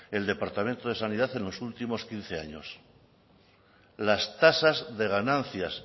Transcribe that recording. el departamento de sanidad en los últimos quince años las tasas de ganancias